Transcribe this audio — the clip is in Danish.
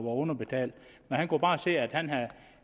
underbetalt men han kunne bare se at han